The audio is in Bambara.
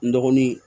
N dɔgɔnin